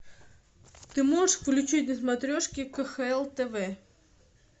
ты можешь включить на смотрешке кхл тв